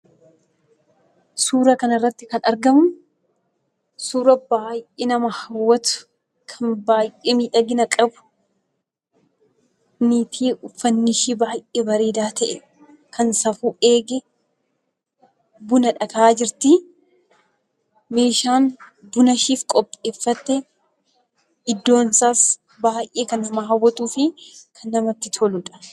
Suuraa kanarratti kan argamu suuraa baay'ee nama hawwatu kan baay'ee miidhagina qabu niitii uffannishee baay'ee bareedaa ta'e, kan safuu eege bunadha akaayaa jirti. Meeshaan bunasheef qopheeffattee iddoonsaas kan baay'ee nama hawwatuu fi kan namatti toludha.